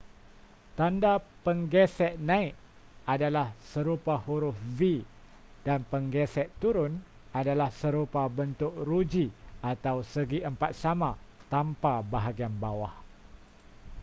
tanda penggesek naik adalah serupa huruf v dan penggesek turun adalah serupa bentuk ruji atau segiempat sama tanpa bahagian bawah